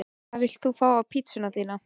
Hvað vilt þú fá á pizzuna þína?